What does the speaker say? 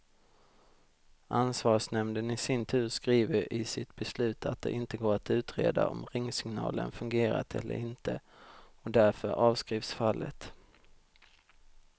Ansvarsnämnden i sin tur skriver i sitt beslut att det inte går att utreda om ringsignalen fungerat eller inte, och därför avskrivs fallet.